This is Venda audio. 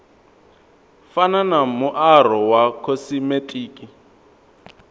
fana na muaro wa khosimetiki